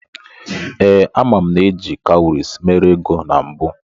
Ee, ama m na eji kawuries mere ego na mbụ.